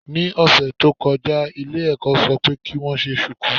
Ní ọ̀sẹ̀ tó lọ ilé ẹ̀kọ́ ṣọ pé kí wọ́n ṣe ṣùkú.